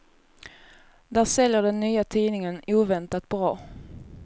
Där säljer den nya tidningen oväntat bra.